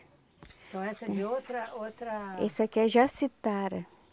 Então essa é de outra outra... Esse aqui é jacitara.